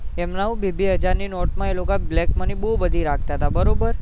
એમને હું બે બે હજાર ની નોટો માં એ black money બહુ બધી રાખતા હતા બરોબર